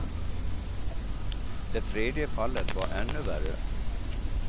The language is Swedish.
Det tredje fallet var ännu värre.